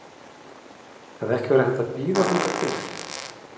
Hefði ekki verið hægt að bíða þangað til?